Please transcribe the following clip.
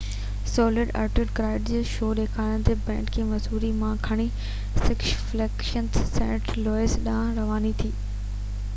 sold out crowd کي show ڏيکارڻ لاءِ بينڊ کي مسوري مان کڻي سڪس فليگس سينٽ لوئس ڏانهن رواني ٿي